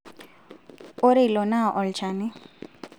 ore ilo naa olchani